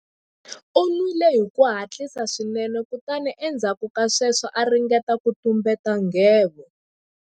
U nwile hi ku hatlisa swinene kutani endzhaku ka sweswo a ringeta ku tumbeta nghevo.